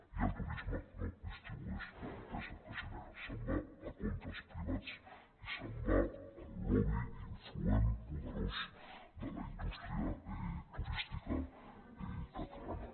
i el turisme no distribueix la riquesa que genera se’n va a comptes privats i se’n va al lobby influent poderós de la indústria turística catalana